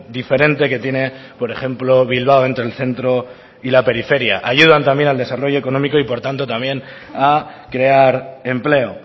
diferente que tiene por ejemplo bilbao entre el centro y la periferia ayudan también al desarrollo económico y por tanto también a crear empleo